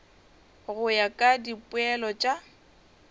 go ya ka dipoelo tša